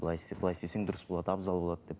былай істе былай істесең дұрыс болады абзал болады деп